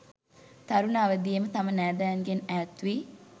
තරුණ අවදියේම තම නෑදෑයන්ගෙන් ඈත්වී